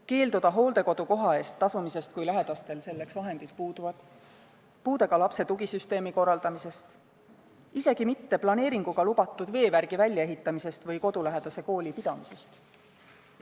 – keelduda hooldekodukoha eest tasumisest, kui lähedastel endil selleks vahendid puuduvad, puudega lapse tugisüsteemi korraldamisest, planeeringuga lubatud veevärgi väljaehitamisest ja kodulähedase kooli pidamisest.